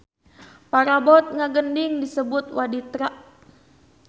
Parabot ngagending disebutna waditra.